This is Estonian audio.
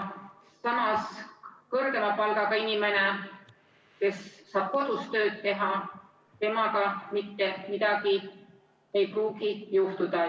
Samas kõrgema palgaga inimesega, kes saab kodus tööd teha, ei pruugi mitte midagi juhtuda.